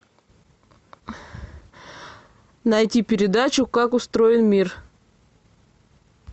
найти передачу как устроен мир